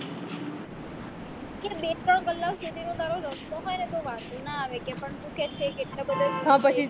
ત્યાં બે ત્રણ કલાક સુધી નો રસ્તો હોય ને તો વાંધો ના આવે કે પણ તું કે છે કે એટલે બધે દૂર